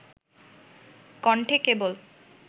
কণ্ঠে কেবল